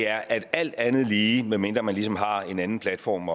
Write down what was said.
er at alt andet lige medmindre man ligesom har en anden platform